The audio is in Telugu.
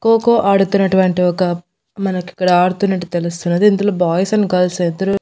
ఖోఖో ఆడుతున్నటువంటి ఒక మనకిక్కడ ఆడుతున్నట్టు తెలుస్తున్నది ఇందులో బాయ్స్ అండ్ గర్ల్స్ ఇద్దరు.